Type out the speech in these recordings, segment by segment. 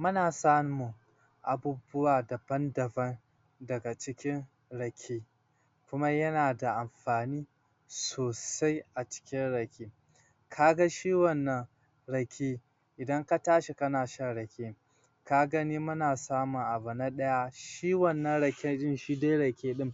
Muna samun abubuwa daban-daban daga cikin rake kuma yana da amfani sosai a cikin rake kaga shi wannan rake idan ka tashi kana shan rake ka gani muna samun abu na ɗaya shi wannan rake shi dai rake ɗin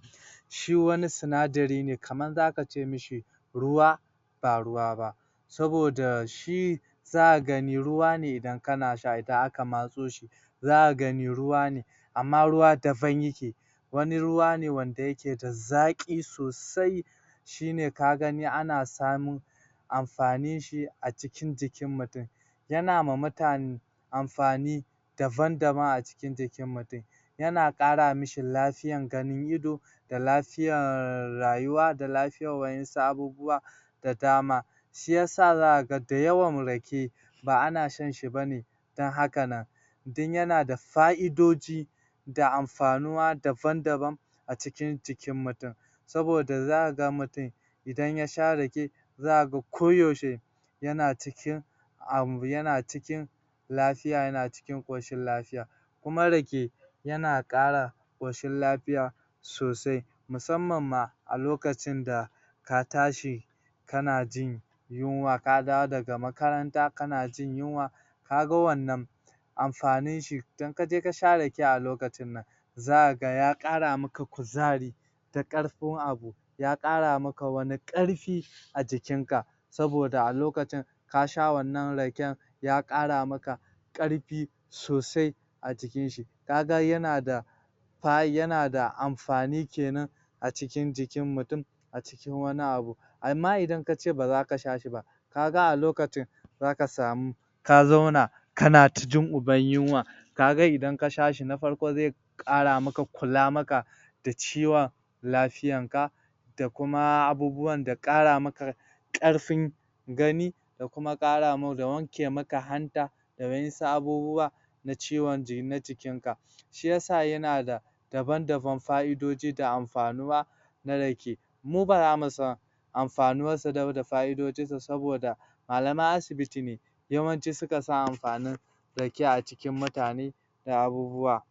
shi wani sinadari ne kaman za kace mishi ruwa Ba ruwa ba saboda shi zaka gani ruwa ne idan kana sha idan aka matso shi zaka gani ruwa ne amma ruwa daban yake wani ruwa ne da yake da zaƙi sosai shine ka gani ana samun amfaninshi a cikin jikin mutum yana ma mutane amfani daban-daban a jiki mutum yana ƙara mishi lafiyan ganin ido da lafiyan rayuwa da lafiyan wa'insu abubuwa da dama shiyasa zaka ga dayawan rake ba ana shan shi bane don haka nan don yana da fa'idoji da amfanuwa daban-daban a cikin jikin mutum saboda zaka ga mutum idan ya sha rake za ka ga ko yaushe yana cikin um yana cikin lafiya yana cikin ƙoshin lafiya kuma rake yana ƙara ƙoshin lafiya sosai musamman ma a lokacin da ka tashi kana jin yunwa ka dawo daga makaranta kana jin yunwa kaga wannan amfanin shi to in kaje ka sha rake a lokacin nan zaka ga ya ƙara maka kuzari da ƙarfin abu ya ƙara maka wani ƙarfi a jikin ka saboda a lokacin ka sha wannan raken ya ƙara maka ƙarfi sosai a jikin shi ka ga yana da yana da amfani kenan a cikin jikin mutum a cikin wani abu amma idan kace baza ka sha shi ba kaga a lokacin baza ka samu ka zauna kana da jin uban yunwa kaga idan ka sha shi na farko zai ƙara maka kula maka da ciwon lafiyanka da kuma abubuwan da ƙara maka ƙarfin gani da kuma wanke maka hanta da wa'insu abubuwa na ciwon na jikinka shiyasa yana da daban-daban fa'idoji da amfanuwa na rake mu baza mu san amfanuwa da fa'idojinsa saboda malaman asibiti ne yawanci suka san amfanin rake a cikin mutane da abubuwa.